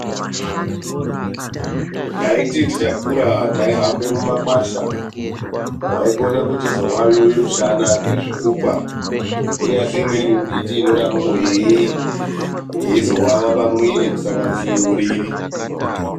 Taiti tichakura taihambe mumakwasha waikona kuchizowawiwa mushana ngezvikukwa kunyazi imweni mimbiti inodarokwo yeizowawa pamwiri kusanganisira uriri.